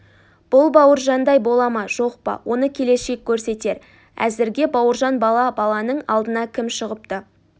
бұл бауыржандай бола ма жоқ па оны келешек көрсетер әзірге бауыржан бала баланың алдына кім шығыпты